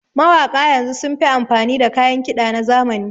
Mawaƙa yanzu sun fi amfani da kayan kiɗa na zamani